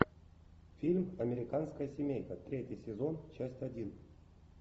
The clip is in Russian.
фильм американская семейка третий сезон часть один